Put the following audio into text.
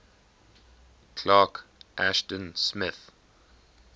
clark ashton smith